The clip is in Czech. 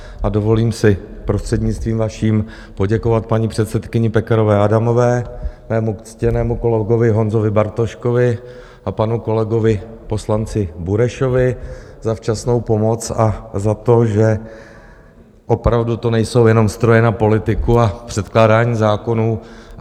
A dovolím si prostřednictvím vaším poděkovat paní předsedkyni Pekarové Adamové, mému ctěnému kolegovi Honzovi Bartoškovi a panu kolegovi poslanci Burešovi za včasnou pomoc a za to, že opravdu to nejsou jenom stroje na politiku a předkládání zákonů.